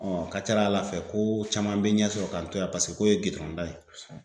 a ka ca la Ala fɛ ko ko caman bɛ ɲɛ sɔrɔ k'an to yan paseke ko ye gindɔrɔn da ye.